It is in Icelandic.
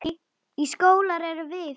Verður hann.